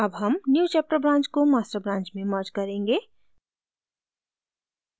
अब हम newchapter branch को master branch में merge करेंगे